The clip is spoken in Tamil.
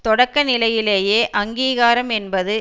தொடக்க நிலையிலேயே அங்கீகாரம் என்பது